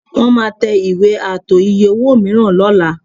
Wọ́n máa tẹ ìwé ààtò iye-owó mìíràn lọ́la